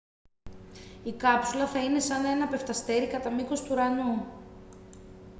η κάψουλα θα είναι σαν ένα πεφταστέρι κατά μήκος του ουρανού